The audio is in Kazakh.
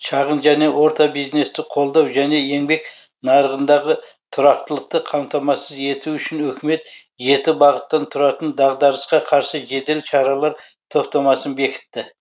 шағын және орта бизнесті қолдау және еңбек нарығындағы тұрақтылықты қамтамасыз ету үшін үкімет жеті бағыттан тұратын дағдарысқа қарсы жедел шаралар топтамасын бекітті